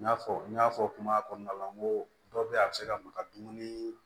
N y'a fɔ n y'a fɔ kuma kɔnɔna la n ko dɔ be yen a bi se ka maka dumuni